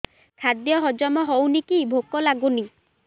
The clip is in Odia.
ଖାଦ୍ୟ ହଜମ ହଉନି କି ଭୋକ ଲାଗୁନି